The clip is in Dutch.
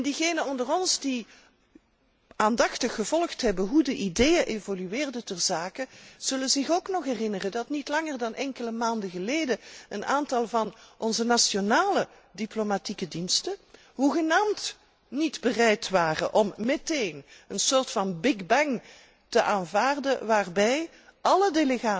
Diegenen onder ons die aandachtig gevolgd hebben hoe de ideeën in dit verband geëvolueerd zijn, zullen zich ook nog herinneren dat niet langer dan enkele maanden geleden een aantal van onze nationale diplomatieke diensten hoegenaamd niet bereid waren om meteen een soort van big bang te aanvaarden, waarbij alle